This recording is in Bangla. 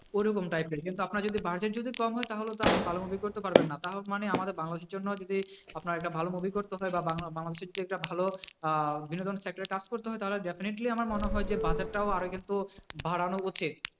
ঐরকম typer কিন্তু আপনার যদি budget যদি কম হয় তাহলে তো আপনি ভালো movie করতে পারবেন না, তাও মানে আমাদের বাংলাদেশের জন্য যদি আপনার একটা ভালো movie করতে হয় বা বাংলাদেশের যদি একটা ভালো আহ বিনোদন sector এ কাজ করতে হয় তাহলে definitely আমার মনে হয় যে budget টাও আরও কিন্তু বাড়ানো উচিত।